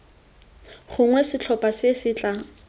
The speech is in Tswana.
gongwe setlhopha se se tla